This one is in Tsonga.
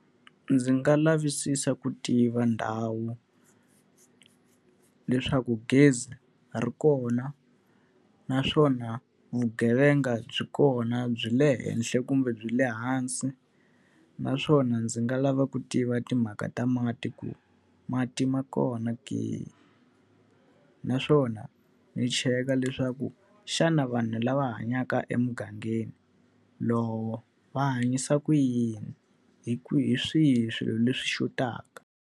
Ndzi nga lavisisa ku tiva ndhawu, leswaku gezi ri kona naswona vugevenga byi kona byi le henhla kumbe byi le hansi. Naswona ndzi nga lava ku tiva timhaka ta mati ku mati ma kona ke? Naswona ni cheka leswaku xana vanhu lava hanyaka emugangeni lowo, va hanyisa ku yini? Hi hi swihi swilo leswi xotaka?